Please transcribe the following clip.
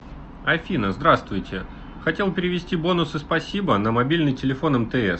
афина здравствуйте хотел перевести бонусы спасибо на мобильный телефон мтс